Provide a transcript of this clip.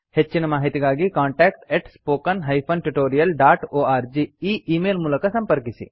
ಹೆಚ್ಚಿನ ಮಾಹಿತಿಗಾಗಿ contactspoken tutorialorg ಈ ಈ ಮೇಲ್ ಮೂಲಕ ಸಂಪರ್ಕಿಸಿ